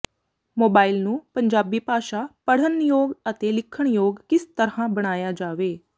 mobile ਨੂੰ ਪੰਜਾਬੀ ਭਾਸ਼ਾ ਪੜ੍ਹਨਯੋਗ ਅਤੇ ਲਿਖਣਯੋਗ ਕਿਸ ਤਰ੍ਹਾਂ ਬਣਾਇਆ ਜਾਵੇ